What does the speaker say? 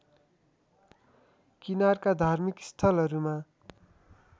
किनारका धार्मिक स्थलहरूमा